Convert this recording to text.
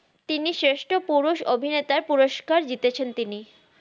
তিনি শ্রেস্ত্র পুরুস অভিনেতাই পুরুস্কার জিতেছেন তিনি